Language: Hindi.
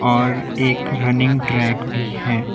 और एक रनिंग ट्रैक भी है।